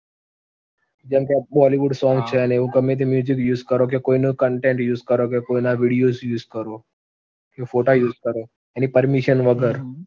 જેમ કે bollywood song છે અને એવું ગમે તે use કરો કે કોઈનું content use કરો કે કોઈના videos use કરો, ફોટા use કરો એની permission વગર